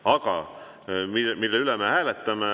Aga mille üle me hääletame?